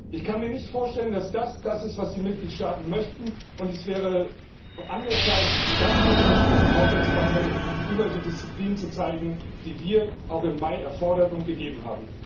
Ich kann mir nicht vorstellen, dass es das ist, was die Mitgliedstaaten möchten, und es wäre auch an der Zeit, das in den entsprechenden Haushaltsverhandlungen über die Disziplin zu zeigen, die wir auch im Mai gefordert und bewiesen haben.